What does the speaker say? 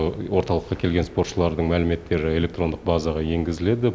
орталыққа келген спортшылардың мәліметтері электрондық базаға енгізіледі